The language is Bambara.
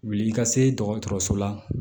Wuli i ka se dɔgɔtɔrɔso la